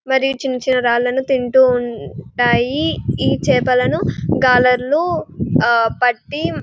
మరి చిన్న చిన్న రాళ్లను తింటూ ఉంటాయి ఈ చేపలను గాలర్లు పట్టి--